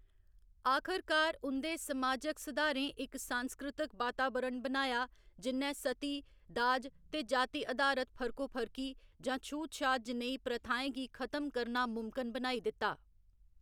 आखरकार उं'दे समाजक सुधारें इक सांस्कृतक बातावरण बनाया जि'न्नै सती, दाज ते जाति अधारत फर्कोफर्की जां छूतछात जनेही प्रथाएं गी खत्म करना मुमकन बनाई दित्ता।